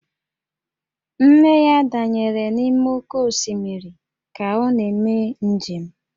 Nne ya danyere n'ime oké osimiri ka ọ na-eme njem